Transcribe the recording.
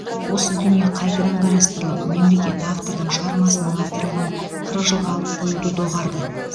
осы дүние қайтадан қарастырылып мемлекет автордың шығармасының авторлығын қырық жылға алып қоюды доғарды